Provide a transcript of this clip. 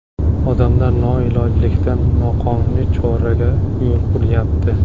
Odamlar noilojlikdan noqonuniy choraga qo‘l uryapti.